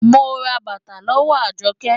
Mo ra bàtà lọ́wọ́ Àjọkẹ́.